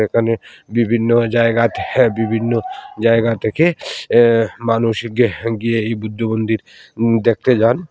এখানে বিভিন্ন জায়গা থেহে বিভিন্ন জায়গা থেকে অ্যা মানুষ গ্যাহ গিয়ে এই বুদ্ধমন্দির উম দেখতে যান।